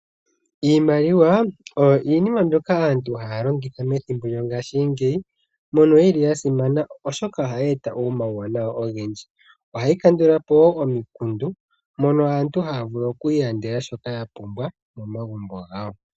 Iimaliwa oyo iinima mbyoka aantu haya longitha methimbo lyo ngaashingeyi. Oyi li ya simana oshoka ohayi eta omawuwanawa ogendji. Ohayi kandulapo woo omikundu oshoka aantu oha ya vule oku ilandela shoka ya pumbwa momagumbo gawo.